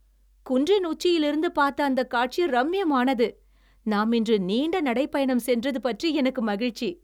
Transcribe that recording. குன்றின் உச்சியிலிருந்து பார்த்த அந்தக் காட்சி ரம்மியமானது! நாம் இன்று நீண்ட நடைப்பயணம் சென்றது பற்றி எனக்கு மகிழ்ச்சி.